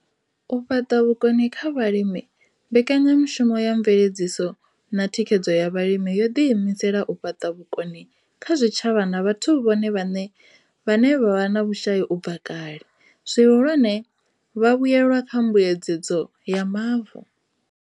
U fhaṱa vhukoni kha vhalimi Mbekanyamushumo ya mveledziso na thikhedzo ya Vhalimi yo ḓiimisela u fhaṱa vhukoni kha zwitshavha na vhathu vhone vhaṋe vhe vha vha vhe na vhushai u bva kale, zwihulwane, vhavhuelwa kha mbuedzedzo ya mavu.